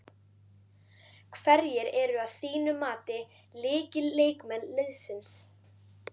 Hverjir eru að þínu mati lykilleikmenn liðsins?